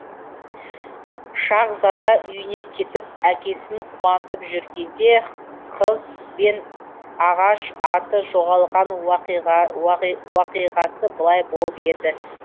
шаһзада үйіне кетіп әкесін қуантып жүргенде кыз бен ағаш аты жоғалған уақиғасы былай болып еді